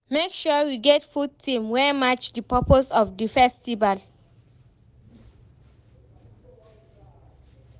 Make sure you get good theme wey match di purpose of di festival